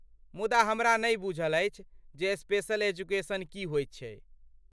मुदा, हमरा नहि बुझल अछि जे स्पेशल एजुकेशन की होइत छै?